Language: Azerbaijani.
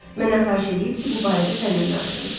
Məndən xahiş eləyib ki, bu barədə sənnən danışım.